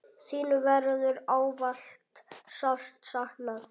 Þín verður ávallt sárt saknað.